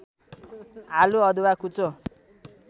आलु अदुवा कुचो